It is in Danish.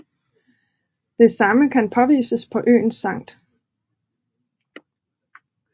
Det samme kan påvises på øen St